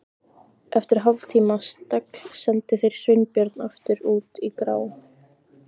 Eftir hálftíma stagl sendu þeir Sveinbjörn aftur út í grá